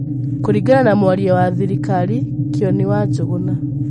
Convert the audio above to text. Kũringana na mwarĩa wa thirĩkarĩ Kionĩ wa Njũgũna.